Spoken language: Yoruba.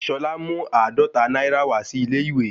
Ṣolá mú àádọ́ta náírà wá sí ilé-ìwé